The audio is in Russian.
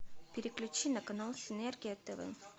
переключи на канал энергия тв